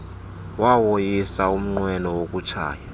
wawoyisa umnqweno wokutshaya